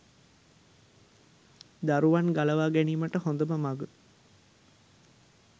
දරුවන් ගලවා ගැනීමට හොඳම මඟ